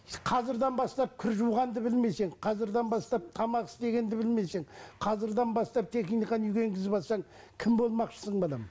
қазірден бастап кір жуғанды білмесің қазірден бастап тамақ істегенді білмесең қазірден бастап техниканы үйге енгізіп алсаң кім болмақшысың балам